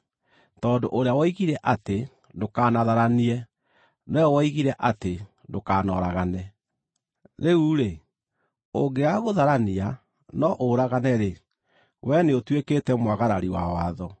Tondũ ũrĩa woigire atĩ, “Ndũkanatharanie,” nowe woigire atĩ, “Ndũkanoragane.” Rĩu-rĩ, ũngĩaga gũtharania no ũragane-rĩ, wee nĩũtuĩkĩte mwagarari wa watho.